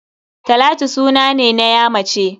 Talatu suna ne na ya mace.